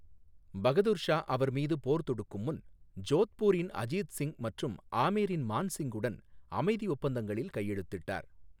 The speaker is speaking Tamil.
பகதூர் ஷா அவர் மீது போர் தொடுக்கும் முன் ஜோத்பூரின் அஜித் சிங் மற்றும் ஆமேரின் மான் சிங்குடன் அமைதி ஒப்பந்தங்களில் கையெழுத்திட்டார்.